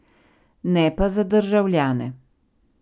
Ne pa za državljane.